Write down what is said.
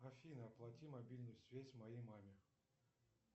афина оплати мобильную связь моей маме